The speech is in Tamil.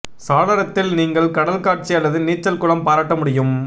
சாளரத்தில் நீங்கள் கடல் காட்சி அல்லது நீச்சல் குளம் பாராட்ட முடியும்